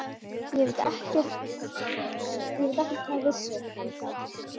Ég veit ekkert með vissu enn þá.